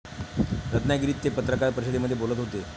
रत्नागिरीत ते पत्रकार परिषदेमध्ये बोलत होते.